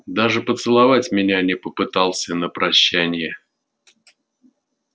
даже поцеловать меня не попытался на прощанье